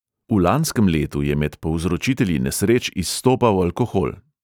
V lanskem letu je med povzročitelji nesreč izstopal alkohol.